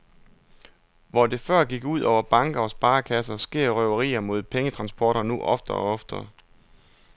Hvor det før gik ud over banker og sparekasser, sker røverier mod pengetransporter nu oftere og oftere.